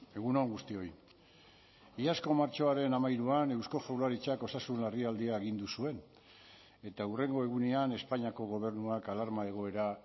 egun on guztioi iazko martxoaren hamairuan eusko jaurlaritzak osasun larrialdia agindu zuen eta hurrengo egunean espainiako gobernuak alarma egoera